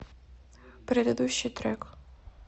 предыдущий трек